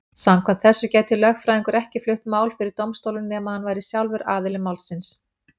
Samkvæmt þessu gæti lögfræðingur ekki flutt mál fyrir dómstólum nema hann væri sjálfur aðili málsins.